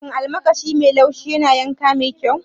Shin almakashi mai laushi yana yanka mai kyau?